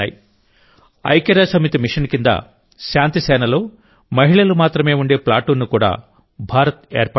ఐక్యరాజ్యసమితి మిషన్ కింద శాంతిసేనలో మహిళలు మాత్రమే ఉండే ప్లాటూన్ను కూడా భారత్ ఏర్పాటు చేసింది